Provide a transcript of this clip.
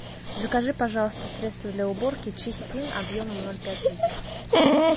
закажи пожалуйста средство для уборки чистин объемом ноль пять литров